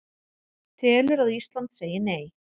Telur að Ísland segi Nei